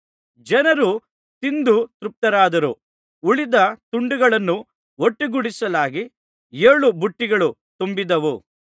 ಜನರು ತಿಂದು ತೃಪ್ತರಾದರು ಉಳಿದ ತುಂಡುಗಳನ್ನು ಒಟ್ಟುಗೂಡಿಸಲಾಗಿ ಏಳು ಬುಟ್ಟಿಗಳು ತುಂಬಿದವು